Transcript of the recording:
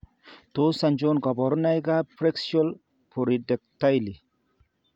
Tos achon kabarunaik ab Preaxial polydactyly?